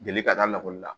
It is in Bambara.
Jeli ka da la lakɔli la